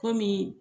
Kɔmi